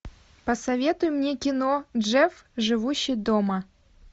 посоветуй мне кино джефф живущий дома